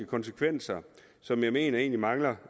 konsekvenser som jeg mener egentlig mangler